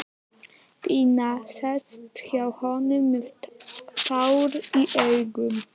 Pína sest hjá honum með tár í augum.